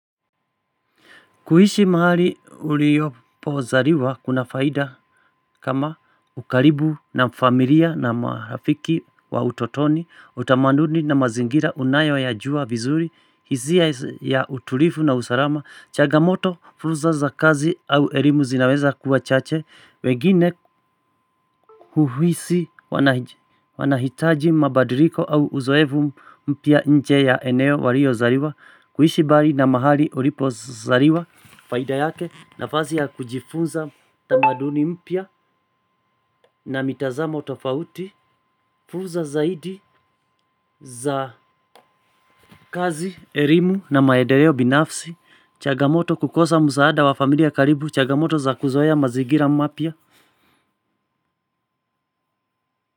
Kuishi mahali uliopozaliwa kuna faida. Kama ukaribu na familia na marafiki wa utotoni, utamaduni na mazingira unayoyajua vizuri, hisia ya utulivu na usalama, changamoto, fulsa za kazi au elimu zinaweza kuwa chache, wengine kuhisi wanahitaji mabadiliko au uzoevu mpya nje ya eneo waliozaliwa. Kuishi mbali na mahali ulipozaliwa. Faida yake nafasi ya kujifunza tamaduni mpya, na mitazamo tofauti. Fulsa zaidi za kazi, elimu na maendeleo binafsi, changamoto kukosa msaada wa familia karibu, chagamoto za kuzoea mazingira mapya.